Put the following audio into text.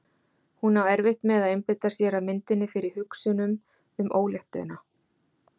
Hún á erfitt með að einbeita sér að myndinni fyrir hugsunum um óléttuna.